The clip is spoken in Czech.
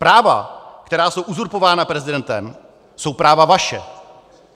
Práva, která jsou uzurpována prezidentem, jsou práva vaše.